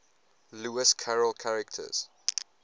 lewis carroll characters